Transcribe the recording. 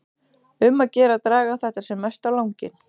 Um að gera að draga þetta sem mest á langinn.